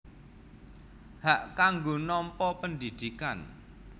Hak kanggo nampa pendidikan